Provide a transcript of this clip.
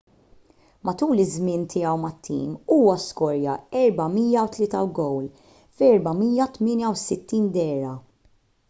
matul iż-żmien tiegħu mat-tim huwa skorja 403 gowl f’468 dehra